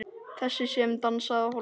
Þessi sem dansaði á hólnum.